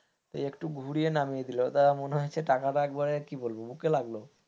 এই একটু ঘুরিয়ে নামিয়ে দিল মনে হচ্ছে টাকাটা একেবারে কি বলবো বুকে লাগলো,